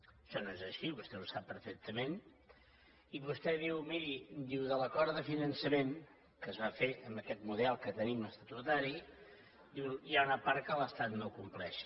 això no és així vostè ho sap perfectament i vostè diu miri diu de l’acord de finançament que es va fer amb aquest model que tenim estatutari diu hi ha una part que l’estat no compleix